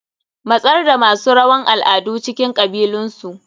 Matsar da masu rawan al'adu a cikin kabilunsu.